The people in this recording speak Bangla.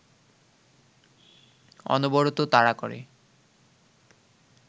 অনবরত তাড়া করে